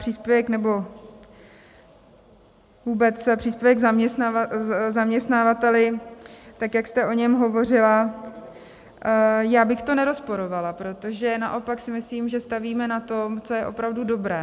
Příspěvek nebo vůbec příspěvek zaměstnavateli, tak jak jste o něm hovořila, já bych to nerozporovala, protože naopak si myslím, že stavíme na tom, co je opravdu dobré.